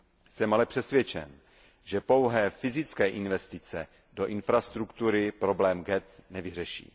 Jsem ale přesvědčen, že pouhé fyzické investice do infrastruktury problém ghett nevyřeší.